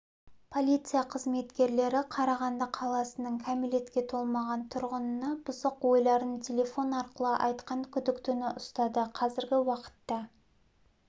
полиция қызметкерлері қарағанды қаласының кәмелетке толмаған тұрғынына бұзық ойларын телефон арқылы айтқан күдіктіні ұстады қазіргі уақытта